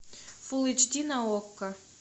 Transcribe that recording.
фул эйч ди на окко